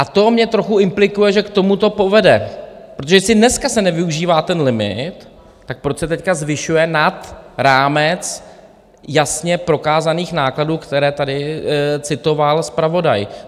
A to mě trochu implikuje, že k tomu to povede, protože jestli dneska se nevyužívá ten limit, tak proč se teď zvyšuje nad rámec jasně prokázaných nákladů, které tady citoval zpravodaj?